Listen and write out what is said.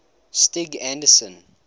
stig anderson